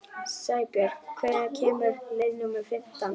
Sæbjörg, hvenær kemur leið númer fimmtán?